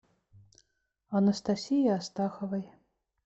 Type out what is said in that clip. анастасии астаховой